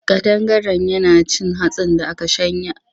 Ƙadangaren yana cin hatsin da aka shanya.